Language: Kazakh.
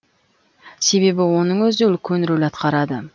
себебі оның өзі үлкен рөл атқарады